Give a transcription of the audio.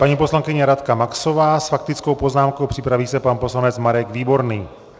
Paní poslankyně Radka Maxová s faktickou poznámkou, připraví se pan poslanec Marek Výborný.